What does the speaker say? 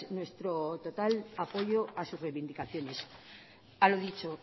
nuestro total apoyo a sus reivindicaciones a lo dicho